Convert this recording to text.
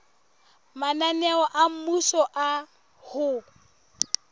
mananeo a mmuso a ho